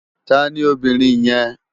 Tàní óbìrín yèn?